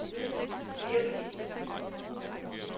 virkelige